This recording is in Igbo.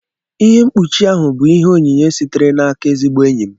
Ihe mkpụchi ahụ bụ ìhè onyinye sitere n'aka ezigbo enyi m